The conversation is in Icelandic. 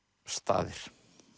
staðir